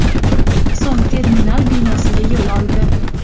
so‘ng terminal binosiga yo‘l oldi.